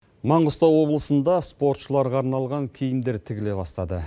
маңғыстау облысында спортшыларға арналған киімдер тігіле бастады